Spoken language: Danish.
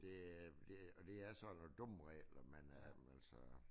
Det er det og det er sådan nogle dumme regler man er altså